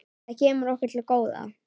Það kemur okkur til góða.